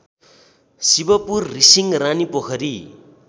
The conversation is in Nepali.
शिवपुर रिसिङ रानीपोखरी